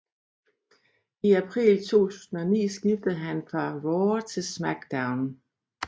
I april 2009 skiftede han fra RAW til SmackDown